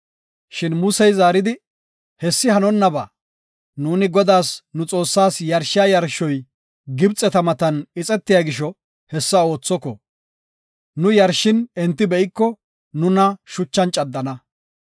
Shin Muse zaaridi, “Hessi hanonnaba. Nuuni Godaas, nu Xoossaas yarshiya yarshoy Gibxeta matan ixetiya gisho, hessa oothoko. Nu yarshishin enti be7iko nuna shuchan caddana.